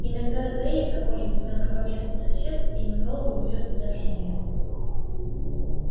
иногда заедет какой-нибудь мелкопоместный сосед и надолго увезёт меня к себе